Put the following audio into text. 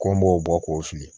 Ko n b'o bɔ k'o fili